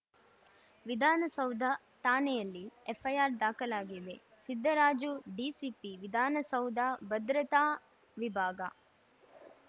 ವಿಧಾನಸೌಧ ಠಾಣೆಯಲ್ಲಿ ಎಫ್‌ಐಆರ್‌ ದಾಖಲಾಗಿದೆ ಸಿದ್ದರಾಜು ಡಿಸಿಪಿ ವಿಧಾನಸೌಧ ಭದ್ರತಾ ವಿಭಾಗ